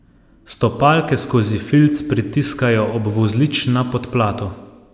Stopalke skozi filc pritiskajo ob vozlič na podplatu.